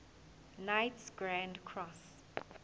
knights grand cross